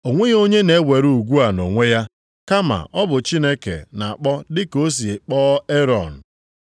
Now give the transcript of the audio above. O nweghị onye na-ewere ugwu a nʼonwe ya, kama ọ bụ Chineke na-akpọ dịka o si kpọọ Erọn.